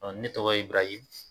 Ne tɔgɔ ye Iburahimu